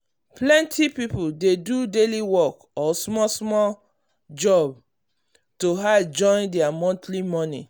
plenty people dey do daily work or small small job to add join their monthly money.